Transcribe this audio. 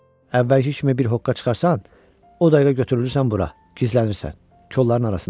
Əvvəlki kimi bir hoqqa çıxarsan, o dəqiqə götürülürsən bura, gizlənirsən kolların arasında.